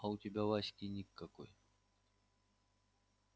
а у тебя в аське ник какой